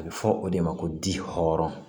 A bɛ fɔ o de ma ko di hɔrɔn